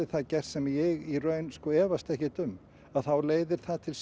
það gert sem ég í raun efast ekkert um þá leiðir það til